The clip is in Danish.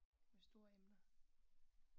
Store emner